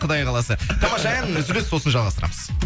құдай қаласа тамаша ән үзіліс сосын жалғастырамыз